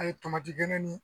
A ye tomati geni nin